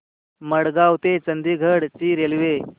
मडगाव ते चंडीगढ ची रेल्वे